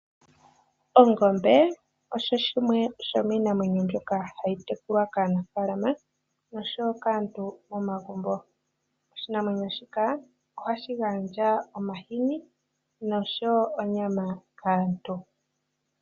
Ongombe osho shimwe shomiinamwenyo mbyoka hayi tekulwa kaanafaalama nosho wo kaantu momagumbo. Oshinamwenyo shika ohashi gandja omahini nosho wo onyama kaantu.